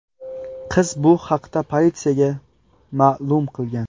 Qiz bu haqda politsiyaga ma’lum qilgan.